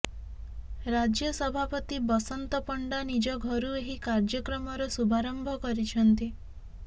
ରାଜ୍ୟ ସଭାପତି ବସନ୍ତ ପଣ୍ଡା ନିଜ ଘରୁ ଏହି କାର୍ଯ୍ୟକ୍ରମର ଶୁଭାରମ୍ଭ କରିଛନ୍ତି